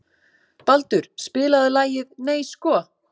Baldur, spilaðu lagið „Nei sko“.